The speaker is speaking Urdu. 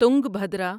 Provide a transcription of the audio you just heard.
تنگبھدرا